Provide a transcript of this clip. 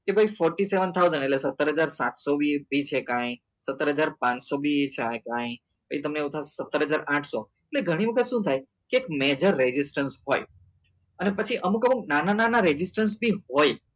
કે ભાઈ forty seven thousand એટલે સત્તર હજાર સાતસો બી કાઈ સત્તર હજાર પાંચસો બી એ છે કાઈ એટલે તમને એવું થાય કે સત્તર હજાર આંત્સો એટલે ગણી વખત શું થાય કે મેજર registration હોય ને પછી અમુક અમુક નાના નાના registration બી હોય